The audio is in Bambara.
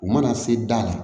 U mana se da la